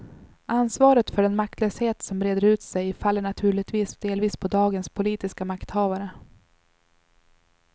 Ansvaret för den maktlöshet som breder ut sig faller naturligtvis delvis på dagens politiska makthavare.